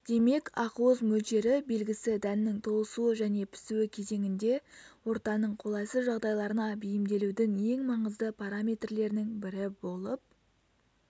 демек ақуыз мөлшері белгісі дәннің толысуы және пісуі кезеңінде ортаның қолайсыз жағдайларына бейімделудің ең маңызды параметрлерінің бірі болып